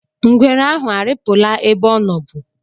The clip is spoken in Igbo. Ngwere ahụ arịpụla ebe ọ nọbu?